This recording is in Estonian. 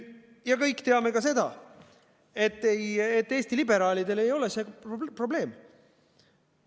Kõik teame ka seda, et Eesti liberaalidele ei ole see probleem.